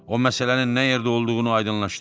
O məsələnin nə yerdə olduğunu aydınlaşdırdı.